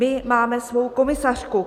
My máme svou komisařku.